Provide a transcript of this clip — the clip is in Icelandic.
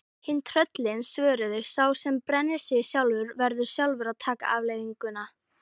Hin tröllin svöruðu: Sá sem brennir sig sjálfur, verður sjálfur að taka afleiðingunum